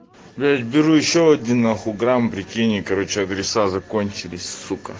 блять беру ещё один нахуй грамм прикинь и короче адреса закончились сука